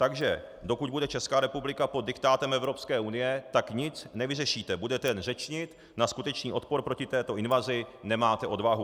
Takže dokud bude Česká republika pod diktátem Evropské unie, tak nic nevyřešíte, budete jen řečnit, na skutečný odpor proti této invazi nemáte odvahu.